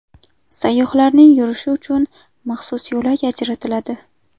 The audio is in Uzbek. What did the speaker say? Sayyohlarning yurishi uchun maxsus yo‘lak ajratiladi.